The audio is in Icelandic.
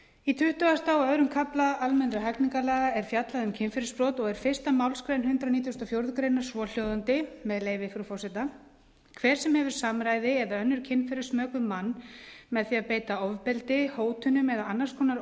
í tuttugasta og öðrum kafla almennra hegningarlaga er fjallað um kynferðisbrot og er fyrsta málsgrein hundrað nítugasta og fjórðu grein svohljóðandi með leyfi frú forseta hver sem hefur samræði eða önnur kynferðismök við mann með því að beita ofbeldi hótunum eða annars konar